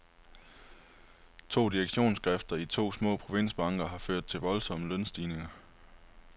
To direktionsskifter i to små provinsbanker har ført til voldsomme lønstigninger.